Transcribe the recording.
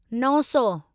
नवसौ